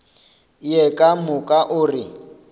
ye ka moka o re